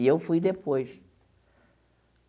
E eu fui depois.